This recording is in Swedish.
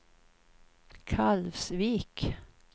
Kalvsvik